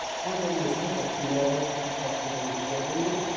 Ancaq məscidin qapısında ağac taxtadan istifadə olunub.